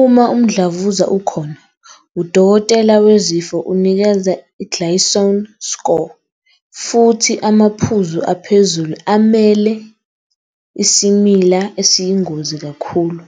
Uma umdlavuza ukhona, udokotela wezifo unikeza i-Gleason score, futhi amaphuzu aphezulu amele isimila esiyingozi kakhulu.